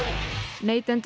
neytendur